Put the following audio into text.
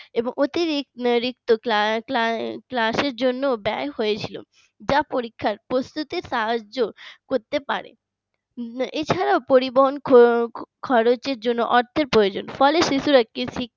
এবং অতিরিক্ত cla~ class র জন্য ব্যয় হয়েছিল যা পরীক্ষার প্রস্তুতির সাহায্য করতে পারে এছাড়াও পরিবহন খরচের জন্য অর্থের প্রয়োজন ফলে শিশুরা